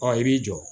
Ɔ i b'i jɔ